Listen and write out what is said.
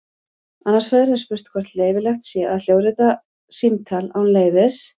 Annars vegar er spurt hvort leyfilegt sé að hljóðrita símtal án leyfis.